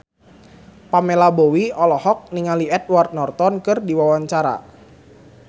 Pamela Bowie olohok ningali Edward Norton keur diwawancara